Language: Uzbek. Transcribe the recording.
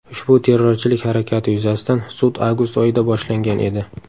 Ushbu terrorchilik harakati yuzasidan sud avgust oyida boshlangan edi.